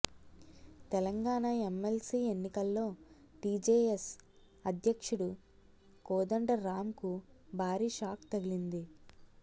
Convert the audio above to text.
Telangana MLC ఎన్నికల్లో TJS అధ్యక్షుడు కోదండరామ్ కు భారీ షాక్ తగిలింది